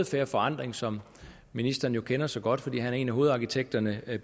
fair forandring som ministeren jo kender så godt fordi han er en af hovedarkitekterne